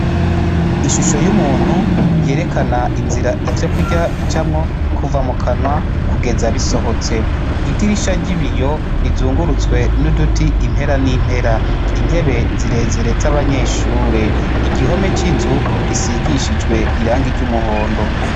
Ishusho y'umuntu yerekana inzira ivyo kurya bicamwo kuva mukanwa kugeza bisohotse idirisha ry'ibiyo rizungurutswe n'uduti impera n'impera, intebe zirezire z'abanyeshure, igihome c'inzu gisigishijwe irangi ry'umuhondo.